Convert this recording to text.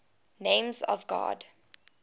names of god